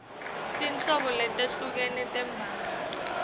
tinhlobo letehlukene tembhalo